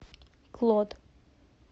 клод